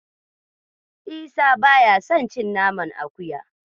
Isa ba ya son cin naman akuya.